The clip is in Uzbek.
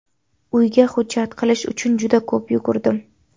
Uyga hujjat qilish uchun juda ko‘p yugurdim.